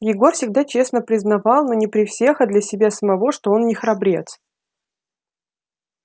егор всегда честно признавал ну не при всех а для себя самого что он не храбрец